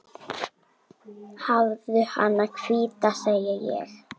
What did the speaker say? Hafðu hana hvíta, segi ég.